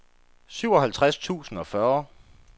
syvoghalvtreds tusind og fyrre